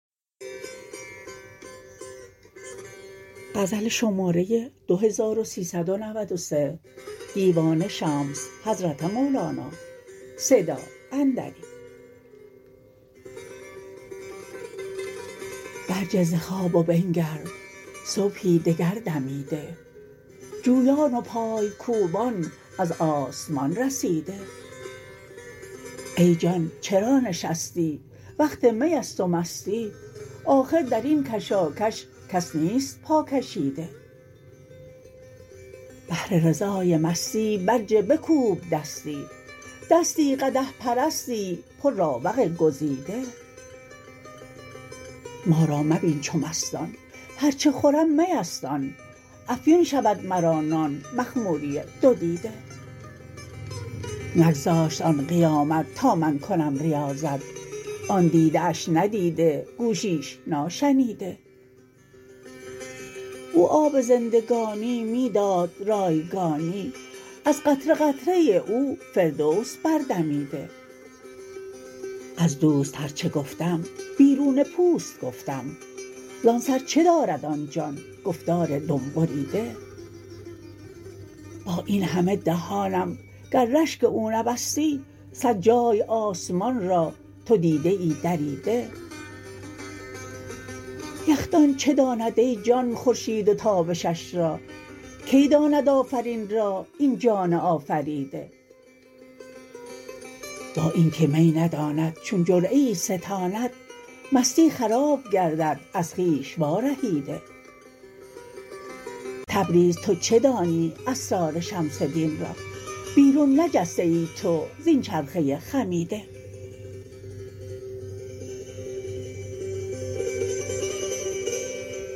برجه ز خواب و بنگر صبحی دگر دمیده جویان و پای کوبان از آسمان رسیده ای جان چرا نشستی وقت می است و مستی آخر در این کشاکش کس نیست پاکشیده بهر رضای مستی برجه بکوب دستی دستی قدح پرستی پرراوق گزیده ما را مبین چو مستان هر چه خورم می است آن افیون شود مرا نان مخموری دو دیده نگذاشت آن قیامت تا من کنم ریاضت آن دیده اش ندیده گوشیش ناشنیده او آب زندگانی می داد رایگانی از قطره قطره او فردوس بردمیده از دوست هر چه گفتم بیرون پوست گفتم زان سر چه دارد آن جان گفتار دم بریده با این همه دهانم گر رشک او نبستی صد جای آسمان را تو دیدیی دریده یخدان چه داند ای جان خورشید و تابشش را کی داند آفرین را این جان آفریده با این که می نداند چون جرعه ای ستاند مستی خراب گردد از خویش وارهیده تبریز تو چه دانی اسرار شمس دین را بیرون نجسته ای تو زین چرخه خمیده